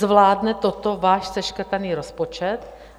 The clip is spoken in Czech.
Zvládne toto váš seškrtaný rozpočet?